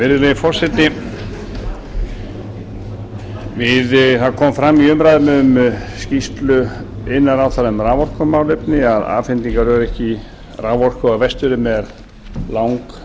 virðulegi forseti það kom fram í umræðum um skýrslu iðnaðarráðherra um raforkumálefni að afhendingaröryggi raforku á vestfjörðum er langverst